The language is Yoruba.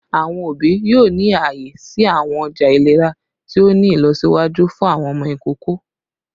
Awọn obi yoo ni aaye si awọn ọja ilera ti o ni ilọsiwaju fun awọn ọmọ ikoko